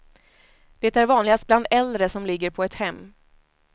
Det är vanligast bland äldre som ligger på ett hem.